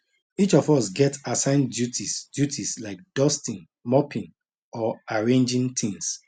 each of us get assigned duties duties like dusting mopping or arranging tins